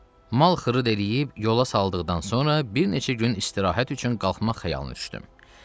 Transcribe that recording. Mal xırd eləyib yola saldıqdan sonra bir neçə gün istirahət üçün qalxmaq xəyalım düşdü.